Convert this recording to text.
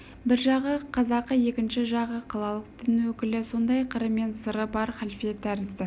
бір жағы қазақы екінші жағы қалалық дін өкілі сондай қыры мен сыры бар халфе тәрізді